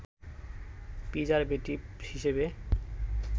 preservative হিসেবে